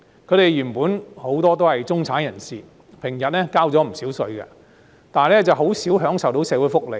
他們原本很多都是中產人士，平日交了不少稅，但很少享受到社會福利。